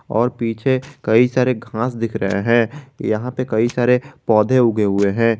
और पीछे कई सारे घास दिख रहे हैं यहां पर कई सारे पौधे उगे हुए हैं।